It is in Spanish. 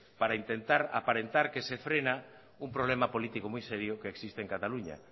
para intentar aparentar que se frena un problema político muy serio que existe en cataluña